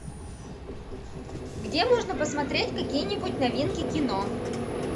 где можно посмотреть какие нибудь новинки кино